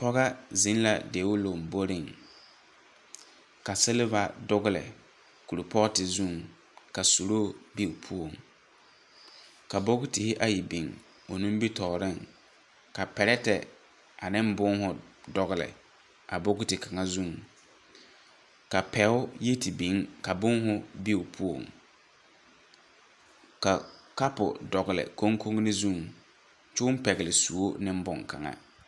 Pɔga zeŋ la deo lomboriŋ, ka seleba dogele korpɔɔte zuŋ ka suluu be o puoŋ. Ka bokitihi ayi biŋ o nimitɔɔreŋ. Ka perɛtɛ aneŋ bõõhõ dɔgele a bokiti kaŋa zu. Ka pɛo yi te biŋ ka bõõhõ be o poɔŋ. Ka kapo dɔgele kuŋkunni zuŋ ky'õ pɛgele suo ne boŋkaŋa.